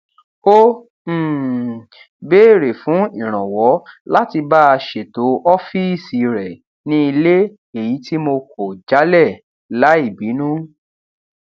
ó um béèrè fún ìrànwọ láti bá a ṣètọ ófíìsì rẹ ní ilé èyí tí mo kò jálè láì bínú